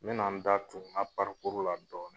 N bena n da tu n ka parikuri la dɔɔni